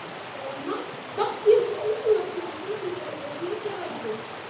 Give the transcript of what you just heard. Matthías Ólafsson stendur og er að flytja ræðu.